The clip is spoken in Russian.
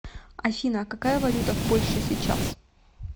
афина а какая валюта в польше сейчас